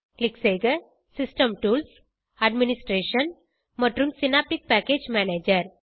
click செய்க system tools administration மற்றும் synaptic package manager